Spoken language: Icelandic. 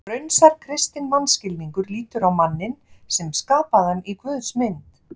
Raunsær kristinn mannskilningur lítur á manninn sem skapaðan í Guðs mynd.